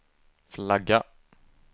flagga